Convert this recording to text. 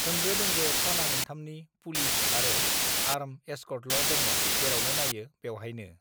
होंगो दोंगो थाना मोनथामनि पुलिस आरो आर्म एसकर्टलदङ जेरावनो नायो बेवहायनो